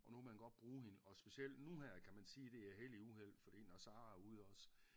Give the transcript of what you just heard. Og nu kan man godt bruge hende og specielt nu her kan man sige det er held i uheld fordi når Sarah er ude også